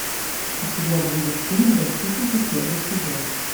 у тебя будет фильм защитники первый сезон